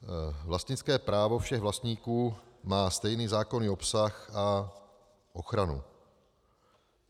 Vlastnické právo všech vlastníků má stejný zákonný obsah a ochranu.